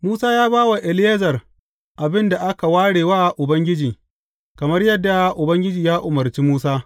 Musa ya ba wa Eleyazar abin da aka ware wa Ubangiji, kamar yadda Ubangiji ya umarci Musa.